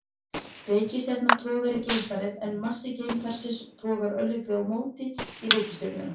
Reikistjarna togar í geimfarið en massi geimfarsins togar örlítið á móti í reikistjörnuna.